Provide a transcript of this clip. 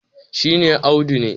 shi ne Audu ne